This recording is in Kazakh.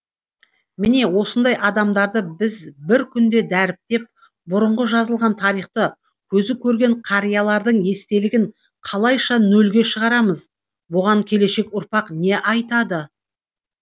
міне осындай адамдарды біз бір күнде дәріптеп бұрынғы жазылған тарихты көзі көрген қариялардың естелігін қалайша нольге шығарамыз бұған келешек ұрпақ не айтады